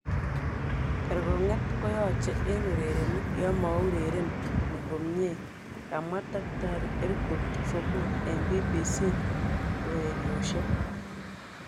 "Kergonget koyoche en urerenik yonmourereni komie, kamwa Dkt Erkut Sogut eng BBC ureryoshek.